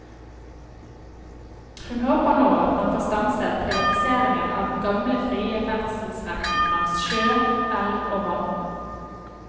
Hun håper nå at man får stanset privatiseringen av den gamle frie ferdselsretten langs sjø, elv og vann.